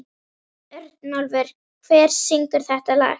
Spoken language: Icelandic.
Örnólfur, hver syngur þetta lag?